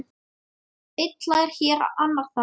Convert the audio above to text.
Einn hlær hér, annar þar.